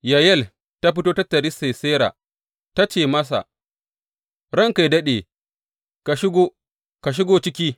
Yayel ta fito ta taryi Sisera ta ce masa, Ranka yă daɗe, ka shigo, ka shigo ciki.